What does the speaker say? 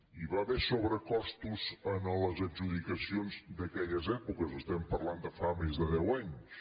hi va haver sobrecostos en les adjudicacions d’aquelles èpoques parlem de fa més de deu anys